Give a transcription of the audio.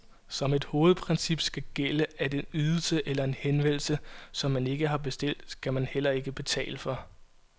Som et hovedprincip skal gælde, at en ydelse eller en henvendelse, som man ikke har bestilt, skal man heller ikke betale for.